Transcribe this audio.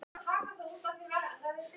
Kristján: Hvernig lýst þér á Keilisnes?